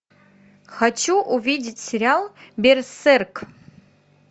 хочу увидеть сериал берсерк